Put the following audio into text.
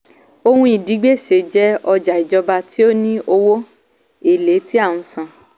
ohun ìdígbèsè jẹ́ ọjà ìjọba tí ó ní owó èlé tí a ń san.